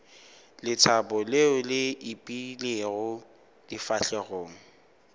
lethabo leo le ipeilego difahlegong